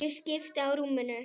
Ég skipti á rúminu.